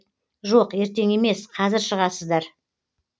жоқ ертен емес қазір шығасыздар